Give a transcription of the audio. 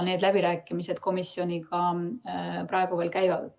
Need läbirääkimised komisjoniga praegu veel käivad.